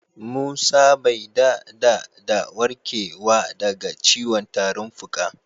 Musa bai dada da warkewa da ga ciwon tarin fuka.